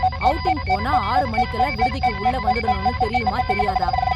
Outing போனா, ஆறு மணிக்கெல்லாம் விடுதிக்கு உள்ளே வந்துடணும்னு தெரியுமா தெரியாதா?